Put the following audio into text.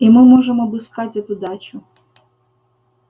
и мы можем обыскать эту дачу